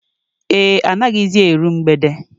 Ee, anaghịzi eru mgbede